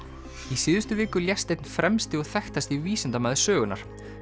í síðustu viku lést einn fremsti og þekktasti vísindamaður sögunnar